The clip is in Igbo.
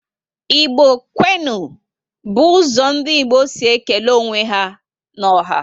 Igbo kwenu! bu ụzọ ndị Igbo si ékélé onwe ya n'ọha